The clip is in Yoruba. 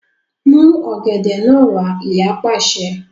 Mú ọ̀gẹ̀dẹ̀ náà wá! Ìyá pàṣẹ.